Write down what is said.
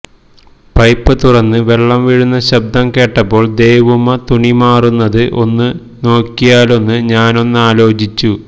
pipe തുറന്ന് വെള്ളം വീഴുന്ന ശബ്ദം കേട്ടപ്പോൾ ദേവൂമ്മ തുണി മാറുന്നത് ഒന്നു നോക്കിയാലൊന്ന് ഞാനൊന്നാലോചിച്ചു